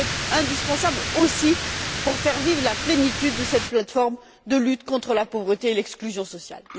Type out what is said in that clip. C'est indispensable aussi pour faire vivre la plénitude de cette plateforme de lutte contre la pauvreté et l'exclusion sociale.